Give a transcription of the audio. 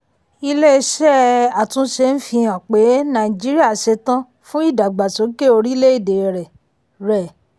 ilé iṣẹ́ àtúnṣe ń fi hàn pé nàìjíríà ṣetan fún ìdàgbàsókè orílẹ̀-èdè rẹ̀. rẹ̀.